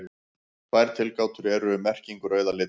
Tvær tilgátur eru um merkingu rauða litarins.